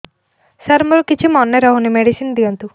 ସାର ମୋର କିଛି ମନେ ରହୁନି ମେଡିସିନ ଦିଅନ୍ତୁ